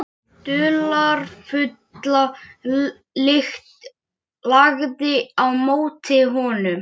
Hélduð þið að þeir væru í hlöðunni minni? spurði Jóhann.